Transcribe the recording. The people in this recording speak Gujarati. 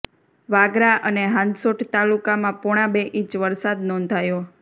વાગરા અને હાંસોટ તાલુકામાં પોણા બે ઈંચ વરસાદ નોંધાયો